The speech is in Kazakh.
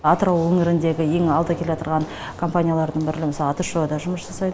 атырау өңіріндегі ең алда келатырған компаниялардын бірінің атшо да жұмыс жасайды